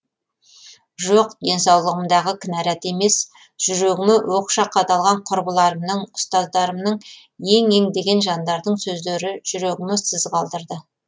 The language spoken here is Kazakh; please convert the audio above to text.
жоқ денсаулығымдағы кінәрат емес жүрегіме оқша қадалған құрбыларымның ұстаздарымның ең ең деген жандардың сөздері жүрегіме сыз қалдырды